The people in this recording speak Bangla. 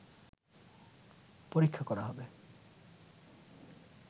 পরীক্ষা করা হবে